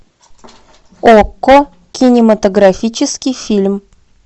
окко кинематографический фильм